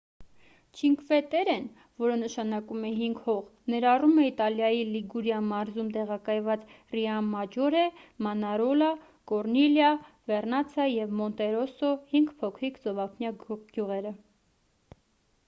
չինկվե-տերրեն որը նշանակում է հինգ հող ներառում է իտալիայի լիգուրիա մարզում տեղակայված ռիոմաջորե մանարոլա կորնիլիա վերնացա և մոնտերոսո հինգ փոքրիկ ծովափնյա գյուղերը